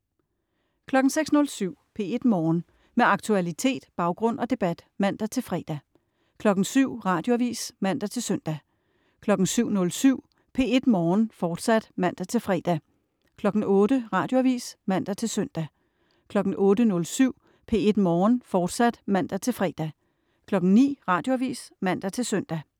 06.07 P1 Morgen. Med aktualitet, baggrund og debat (man-fre) 07.00 Radioavis (man-søn) 07.07 P1 Morgen, fortsat (man-fre) 08.00 Radioavis (man-søn) 08.07 P1 Morgen, fortsat (man-fre) 09.00 Radioavis (man-søn)